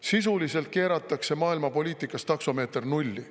Sisuliselt keeratakse maailmapoliitikas taksomeeter nulli.